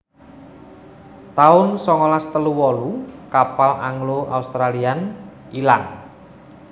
taun songolas telu wolu kapal Anglo Australian ilang